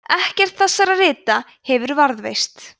ekkert þessara rita hefur varðveist